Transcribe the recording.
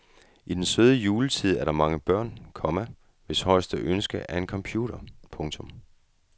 I denne søde juletid er der mange børn, komma hvis højeste ønske er en computer. punktum